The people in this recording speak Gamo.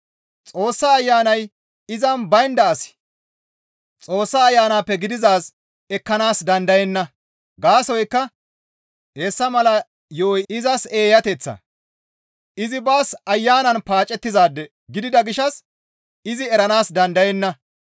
Xoossa Ayanay izan baynda asi Xoossa Ayanappe gididaaz ekkanaas dandayenna; gaasoykka hessa mala yo7oy izas eeyateththa; izi baas Ayanan paacettizaade gidida gishshas izi eranaas dandayenna.